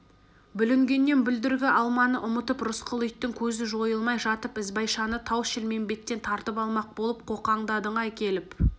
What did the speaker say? бүлінгеннен бүлдіргі алманы ұмытып рысқұл иттің көзі жойылмай жатып ізбайшаны тау-шілмембеттен тартып алмақ болып қоқаңдадың-ай келіп